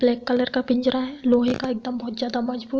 Black colour का पिंजरा है लोहे का एकदम बहोत ज्यादा मजबूत।